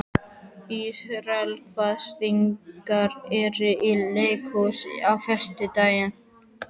Ísrael, hvaða sýningar eru í leikhúsinu á föstudaginn?